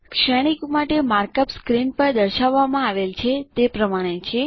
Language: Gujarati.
શ્રેણીક માટે માર્કઅપ સ્ક્રીન પર દર્શાવવામાં આવેલ છે તે પ્રમાણે છે